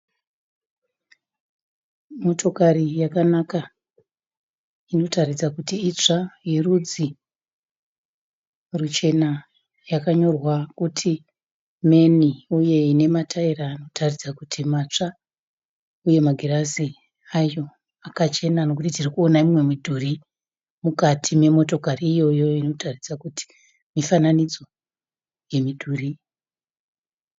Motokari yakanaka inotaridza kuti itsva yerudzi ruchena yakanyorwa kuti man uye ine mataira anotaridza kuti matsva, uye magirazi ayo akachena nekuti tirikuona mimwe midhuri mukati memotokari iyoyo inotaridza kuti mifananidzo yemidhuri.